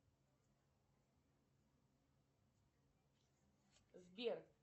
сбер